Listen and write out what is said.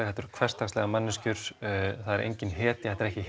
þetta eru hversdagslegar manneskjur það er engin hetja þetta er ekki